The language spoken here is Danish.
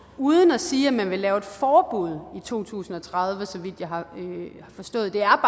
uden at sige om man vil lave et forbud i to tusind og tredive så vidt jeg har forstået det er